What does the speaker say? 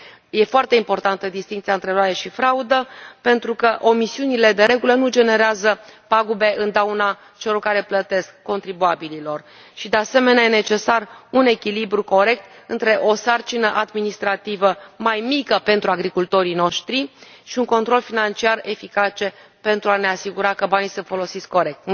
Este foarte importantă distincția între eroare și fraudă pentru că omisiunile, de regulă, nu generează pagube în dauna celor care plătesc contribuabililor și, de asemenea, este necesar un echilibru corect între o sarcină administrativă mai mică pentru agricultorii noștri și un control financiar eficace pentru a ne asigura că banii sunt folosiți corect.